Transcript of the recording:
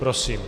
Prosím.